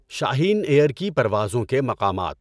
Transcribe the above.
شاہین Air کی پروازوں کے مقامات